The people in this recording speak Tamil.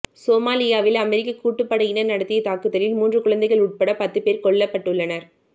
சோமாலியாவில் அமெரிக்க கூட்டுப்படையினர் நடத்திய தாக்குதலில் மூன்று குழந்தைகள் உட்பட பத்து பேர் கொல்லப்பட்டுள்ளனர்